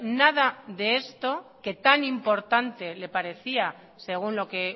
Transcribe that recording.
nada de esto que tan importante le parecía según lo que